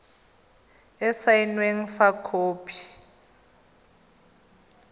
e e saenweng fa khopi